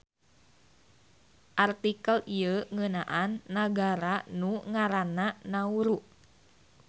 Artikel ieu ngeunaan nagara nu ngaranna Nauru.